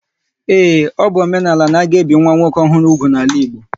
Ee, ọ bụ omenala n'aga ebi nwa nwoke ọhụrụ úgwù n'ala Igbo